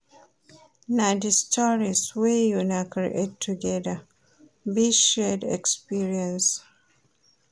Na di stories wey una create togeda, be shared experience.